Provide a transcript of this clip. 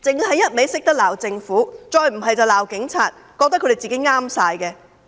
他們只懂得罵政府，再不便是罵警察，覺得自己全對。